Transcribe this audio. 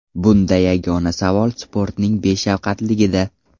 Bunda yagona savol sportning beshafqatligida.